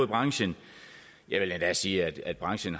branchen jeg vil endda sige at branchen